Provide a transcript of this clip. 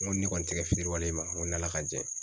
N ko ni ne kɔni tɛ kɛ fitiriwale y'i ma n ko n'ALA ka jɛn ye.